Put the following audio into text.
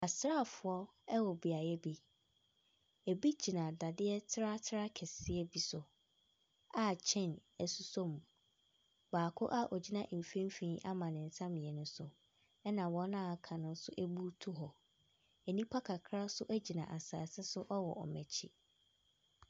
Asraafoɔ ɛwɔ beae bi. Ebi gyina dadeɛ tratraa kɛseɛ bi so a kyain ɛsosɔ mu. Baako a ogyina mfimfini ama ne nsa mmienu so. Ɛna wɔn a aka no nso ebutuw hɔ. Nnipa kakraa nso gyina asase so ɛwɔ wɔn akyi.